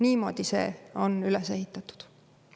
Niimoodi see on üles ehitatud.